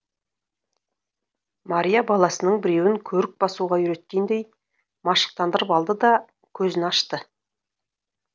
мария баласының біреуін көрік басуға үйреткендей машықтандырып алды да көзін ашты